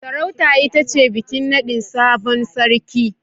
Sarauta ita ce bikin nadin sabon sarki